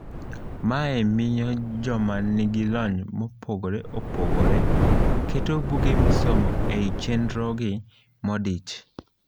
Mae miyo joma nigilony mopogre opogre keto buge misomo ei chenrogi modich.